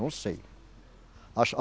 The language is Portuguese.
Não sei. Acho a